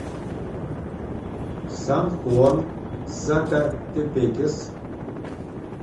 сан хуан сакатепекес